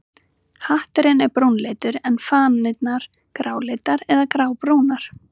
Hatturinn er brúnleitur en fanirnar gráleitar eða grábrúnar.